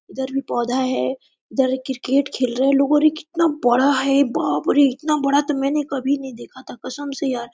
इधर भी पौधा है इधर क्रिकेट खेल रहे है लोगो ने कितना बड़ा है बाप रे इतना बड़ा तो मैंने कभी नहीं देखा था कसम से यार।